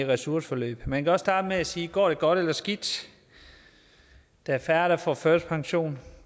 ressourceforløb man kan også starte med at sige går det godt eller skidt der er færre der får førtidspension